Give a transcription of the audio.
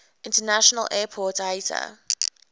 international airport iata